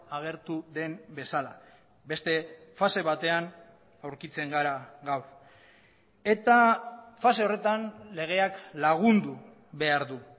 agertu den bezala beste fase batean aurkitzen gara gaur eta fase horretan legeak lagundu behar du